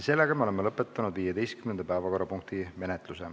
Me oleme lõpetanud 15. päevakorrapunkti menetluse.